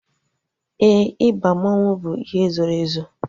Éè, ịba mmanwu bụ ihe zoro ezo